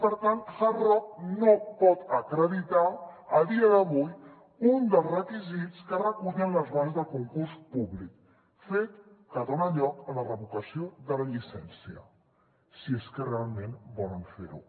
per tant hard rock no pot acreditar a dia d’avui un dels requisits que recullen les bases del concurs públic fet que dona lloc a la revocació de la llicència si és que realment volen fer ho